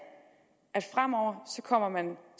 at fremover kommer